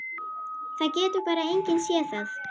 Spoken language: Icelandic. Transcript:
Það getur bara enginn séð það.